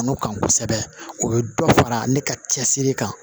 N'o kan kosɛbɛ o bɛ dɔ fara ne ka cɛsiri kan